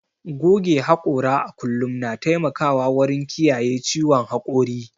Goge haƙora a kullum na taimakawa wurin kiyaye ciwon haƙori.